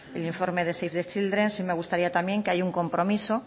el informe de save de children sí me gustaría también que hay un compromiso